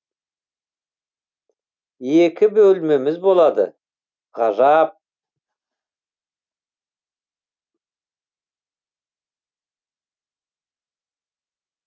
екі бөлмеміз болады ғажап